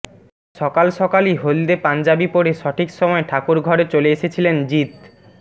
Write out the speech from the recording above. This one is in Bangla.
সকাল সকালই হলদে পঞ্জাবি পরে সঠিক সময় ঠাকুর ঘরে চলে এসেছিলেন জিৎ